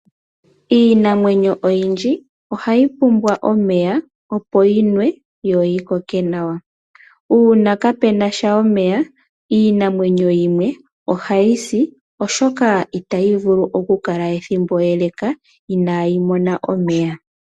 Iinamwenyo oyindji ohayi pumbwa omeya opo yinwe yo yi koke nawa. Uuna kaape na omeya, iinamwenyo yimwe ohayi si oshoka ihayi vulu okukala ethimbo ele inaayinwa omeya. .